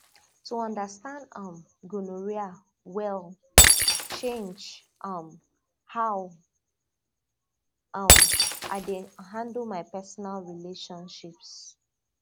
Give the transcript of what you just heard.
to understand um gonorrhea well change um how um i dey handle my personal relationships